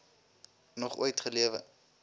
nog ooit gelewe